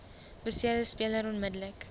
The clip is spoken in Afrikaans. beseerde speler onmiddellik